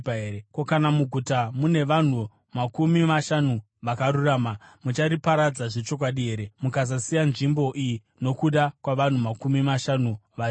Ko, kana muguta mune vanhu makumi mashanu vakarurama? Muchariparadza zvechokwadi here mukasasiya nzvimbo iyo nokuda kwavanhu makumi mashanu varimo?